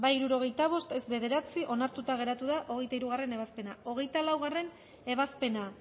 hirurogeita bost boto aldekoa nueve contra onartuta geratu da hogeita hirugarrena ebazpena hogeita laugarrena ebazpena